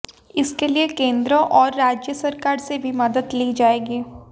इसके लिए केंद्र और राज्य सरकार से भी मदद ली जाएगी